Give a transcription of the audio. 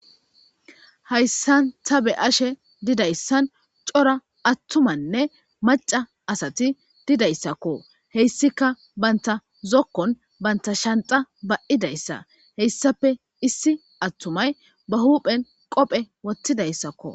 Hayssan ta be ashe didayssan cora attumanne maca asati didayssakko heyssika banta zokkon banta shanxa ba'idayssa heyssape issi attumay ba huphen qophe wottidayssakko.